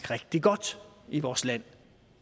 rigtig godt i vores land